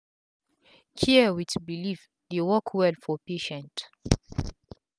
care with belief dey work well for patient